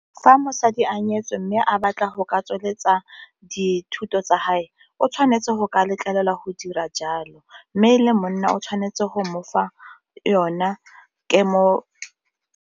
Fa mosadi a nyetswe mme a batla go ka tsweletsa dithuto tsa hae o tshwanetse go ka letlelelwa go dira jalo, mme e le monna o tshwanetse go mofa yona .